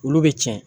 Olu bɛ cɛn